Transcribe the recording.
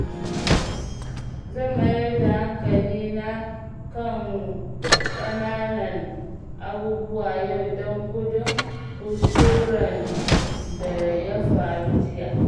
Zan mayar da hankalina kan ƙananan abubuwa yau don gudun kuskuren da ya faru jiya.